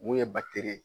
Mun ye batiri ye